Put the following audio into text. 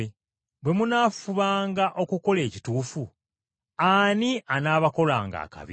Bwe munaafubanga okukola ekituufu, ani anaabakolanga akabi?